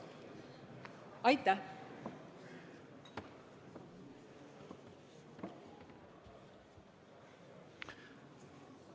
Aitäh!